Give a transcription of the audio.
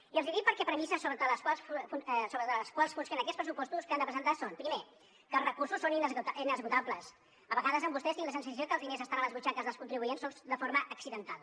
i els ho dic perquè premisses sobre les quals funcionen aquests pressupostos que han de presentar són primer que els recursos són inesgotables a vegades amb vostès tinc la sensació que els diners estan a les butxaques dels contribuents sols de forma accidental